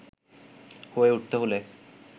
হয়ে উঠতে হলে